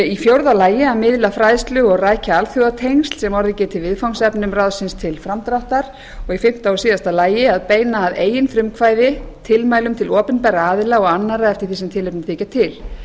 d að miðla fræðslu og rækja alþjóðatengsl sem orðið geti viðfangsefnum ráðsins til framdráttar e að beina að eigin frumkvæði tilmælum til opinberra aðila og annarra eftir því sem tilefni þykja til